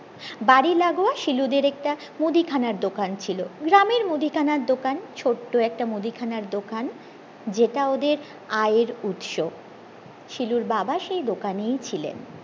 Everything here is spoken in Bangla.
বাড়ি লাগোয়া শিলুদের একটা মুদিখানার দোকান ছিল গ্রামের মুদিখানার দোকান ছোট্ট একটা মুদিখানার দোকান যেটা ওদের আয়ের উৎস শিলুর বাবা সেই দোকানেই ছিলেন